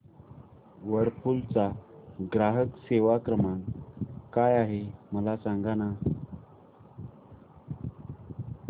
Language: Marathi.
व्हर्लपूल चा ग्राहक सेवा क्रमांक काय आहे मला सांग